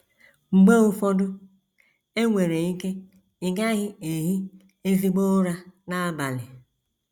Mgbe ụfọdụ, e nwere ike ị gaghị ehi ezigbo ụra n’abalị.